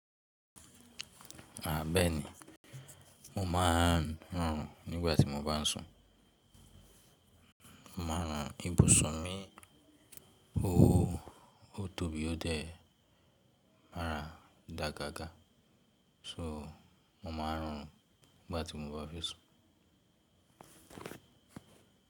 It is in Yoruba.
A bẹẹni mo máa n horun nígbà tí mo bá fẹ sun mo ma rùn ibùsùn mi, oóóó, ó tó bí ó dé ẹ mára dáa gágá. So mo ma ń rọrùn nígbàtí mo bá fi sùn.